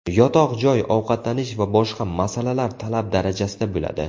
Yotoq joy, ovqatlanish va boshqa masalalar talab darajasida bo‘ladi.